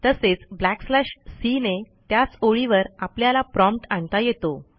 तसेच backslash C ने त्याच ओळीवर आपल्याला प्रॉम्प्ट आणता येतो